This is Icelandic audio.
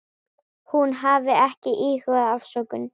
Hún hafi ekki íhugað afsögn.